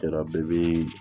Yɔrɔ bɛɛ bɛ